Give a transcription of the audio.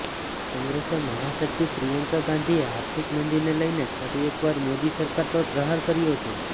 કોંગ્રેસ મહાસચિવ પ્રિયંકા ગાંધીએ આર્થિક મંદીને લઇને ફરી એકવાર મોદી સરકાર પર પ્રહારો કર્યા છે